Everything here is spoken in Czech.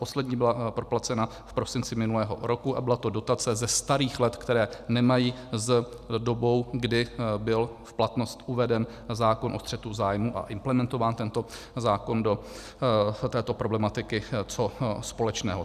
Poslední byla proplacena v prosinci minulého roku a byla to dotace ze starých let, která nemají s dobou, kdy byl v platnost uveden zákon o střetu zájmů a implementován tento zákon do této problematiky, co společného.